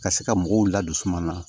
Ka se ka mɔgɔw ladisuma na